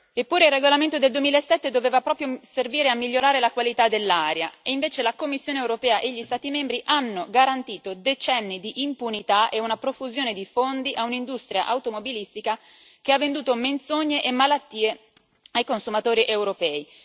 Eppure il regolamento del 2007 doveva proprio servire a migliorare la qualità dell'aria, e invece la Commissione europea e gli Stati membri hanno garantito decenni di impunità e una profusione di fondi a un'industria automobilistica che ha venduto menzogne e malattie ai consumatori europei.